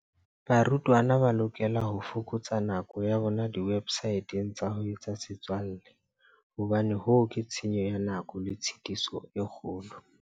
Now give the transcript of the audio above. Barutwana ba lokela ho fokotsa nako ya bona diwebsateng tsa ho etsa setswalle hobane hoo ke tshenyo ya nako le tshitiso e kgolo.